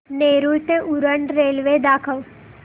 नेरूळ ते उरण रेल्वे दाखव